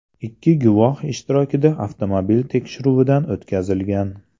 Ikki guvoh ishtirokida avtomobil tekshiruvdan o‘tkazilgan.